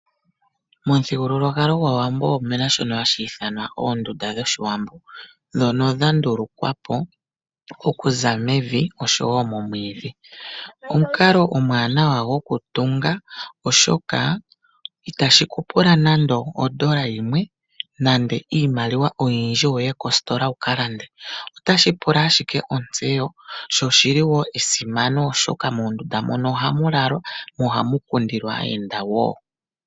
Momuthigululwakalo gwAawambo omuna shoka hashi ithanwa oondunda dhOshiwambo, ndhono dha ndulungwa po okuza mevi oshowo momwiidhi. Omukalo omwaanawa gwokutunga oshoka , itashi ku pula nando odola yimwe nenge iimaliwa oyindji wuye kositola wu ka lande , otashi pula ashike otseyo, sho shili wo esimano ,oshoka muundunda mono ohamu lalwa , mo ohamu kundilwa aayenda wo.